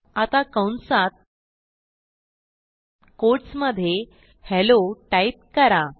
आता कंसात कोट्स मधे हेल्लो टाईप करा